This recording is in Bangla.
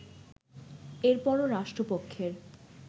এরপরও রাষ্ট্রপক্ষের